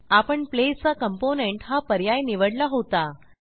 आपण place a component हा पर्याय निवडला होता